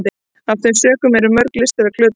af þeim sökum eru mörg listaverk glötuð